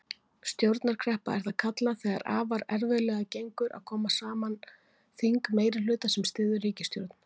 Stjórnarkreppa er það kallað þegar afar erfiðlega gengur að koma saman þingmeirihluta sem styður ríkisstjórn.